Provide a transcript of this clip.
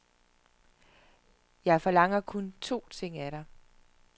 Jeg forlanger kun to ting af dig.